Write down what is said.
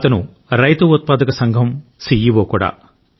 అతను రైతు ఉత్పాదక సంఘం సిఇఒ కూడా